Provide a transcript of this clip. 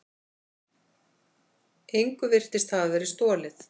Engu virtist hafa verið stolið.